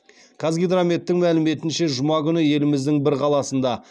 қазгидрометтің мәліметінше жұма күні еліміздің бір қаласында